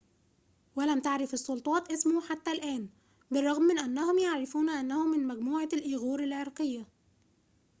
ولم تعرف السلطات اسمه حتى الآن بالرغم من أنهم يعرفون أنه من مجموعة الإيغور العرقية